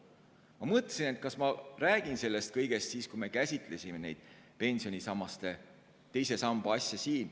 Ma mõtlesin, kas rääkida sellest kõigest siis, kui käsitlesime siin teise pensionisamba teemat.